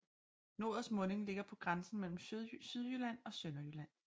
Norets munding ligger på grænsen mellem Sydjylland og Sønderjylland